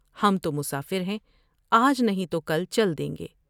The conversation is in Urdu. ہم تو مسافر ہیں آج نہیں تو کل چل دیں گے ۔